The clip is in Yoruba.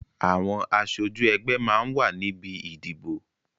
Àwọn aṣojú ẹgbẹ́ máa ń wà níbi ìdìbò